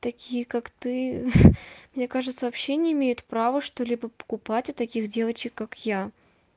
такие как ты мне кажется вообще не имеют права что-либо покупать у таких девочек как я